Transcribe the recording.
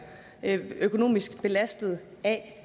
økonomisk belastet af